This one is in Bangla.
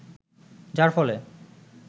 যার ফলে